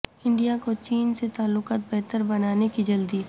India کو چین سے تعلقات بہتر بنانے کی جلدی